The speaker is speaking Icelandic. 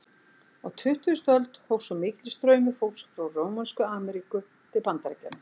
Á tuttugustu öld hófst svo mikill straumur fólks frá Rómönsku Ameríku til Bandaríkjanna.